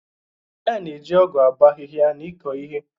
A na-eji ọgu abo ahịhịa na ịkọ ihe.